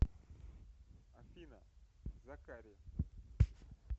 афина закари